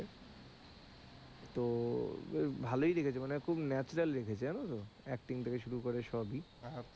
তো ভালোই লিখেছে মানে খুব natural লিখেছে জানো তো acting থেকে শুরু করে সবই,